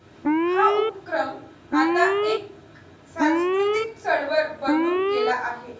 हा उपक्रम आता एक सांस्कृतिक चळवळ बनून गेला आहे.